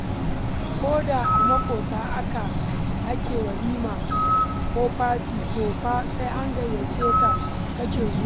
Ko da a maƙota ake walima ko fati, to fa sai an gayyace ka kake zuwa.